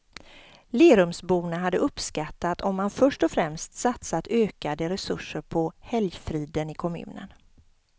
Lerumsborna hade uppskattat om man först och främst satsat ökade resurser på helgfriden i kommunen.